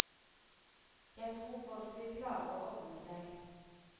Jeg tror folk vil klare å ordne seg.